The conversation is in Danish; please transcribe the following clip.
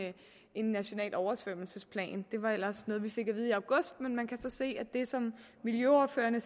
en national oversvømmelsesplan det var ellers noget vi fik at vide i august men man kan så se at det som miljøordførerne